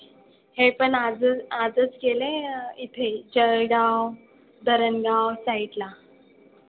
हे पण आजच आजच गेले इथे जळगाव, धरणगाव side ला.